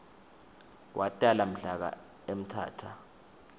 watala mhlaka emthatha